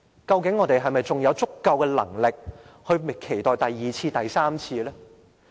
究竟我們還有否足夠能力，應付第二次和第三次呢？